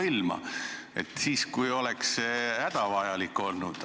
Miks ei tuldud sellega välja siis, kui see oleks hädavajalik olnud?